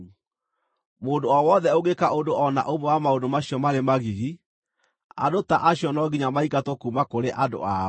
“ ‘Mũndũ o wothe ũngĩka ũndũ o na ũmwe wa maũndũ macio marĩ magigi, andũ ta acio no nginya maingatwo kuuma kũrĩ andũ ao.